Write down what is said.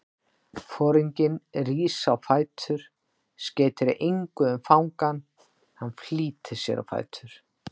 Foringinn rís á fætur, skeytir engu um fangann, hann flýtir sér á fætur.